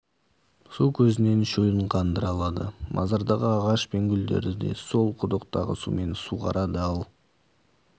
су көзінен шөлін қандыра алады мазардағы ағаш пен гүлдерді де сол құдықтағы сумен суғарады ал